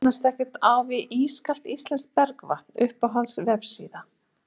það jafnast ekkert á við ískalt íslenskt bergvatn Uppáhalds vefsíða?